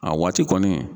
A waati kɔni